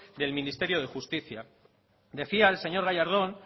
del ministerio de justicia decía el señor gallardón